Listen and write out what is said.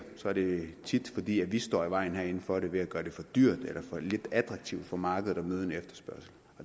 er det tit fordi vi herinde står i vejen for det ved at gøre det for dyrt eller for lidt attraktivt for markedet at møde en efterspørgsel